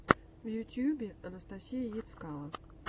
в ютьюбе анастасия ецкало